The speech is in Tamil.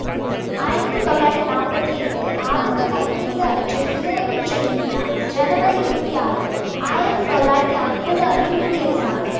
ஆயிரத்தி தொள்ளாயிரத்தி நாப்பத்தி ஏழு ஆகத்து பதினைந்து அன்று விடுதலை பெற்ற இந்தியா ஜனவரி இருவத்தி ஆறு ஆயிரத்தி தொள்ளாயிரத்தி அம்பது அன்று குடியரசானது